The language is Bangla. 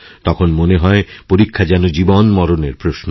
তখন মনে হয়পরীক্ষা যেন জীবনমরণের প্রশ্ন